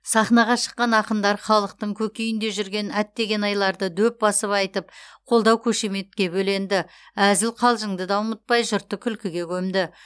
сахнаға шыққан ақындар халықтың көкейінде жүрген әттеген айларды дөп басып айтып қолдау қошеметке бөленді әзіл қалжыңды да ұмытпай жұртты күлкіге көмді